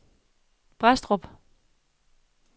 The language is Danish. Brædstrup